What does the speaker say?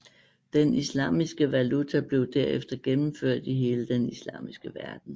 Den islamiske valuta blev derefter gennemført i hele den islamiske verden